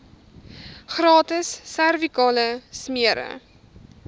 gratis servikale smere